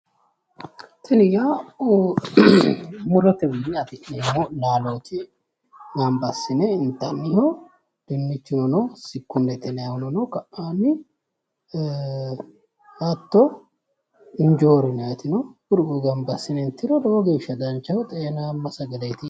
Tini yaa murotewiinni afi'neemmo laaloti gamaba assine intanniho dinnichuno no sikkummete yiannihuno ka"aanni hatto injoori yinaayti no kuri kuri gama assi'ne intiro lowo geeshsha danchaho xeenamma sagaleeti.